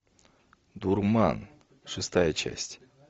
дурман шестая часть